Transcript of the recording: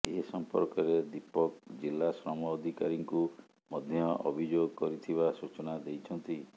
ଏସମ୍ପର୍କରେ ଦୀପକ ଜିଲ୍ଲା ଶ୍ରମ ଅଧିକାରୀଙ୍କୁ ମଧ୍ୟ ଅଭିଯୋଗ କରିଥିବା ସୂଚନା ଦେଇଛନ୍ତି